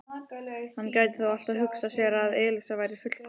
Hann gæti þó alltaf hugsað sér að Elísa væri fullkomin.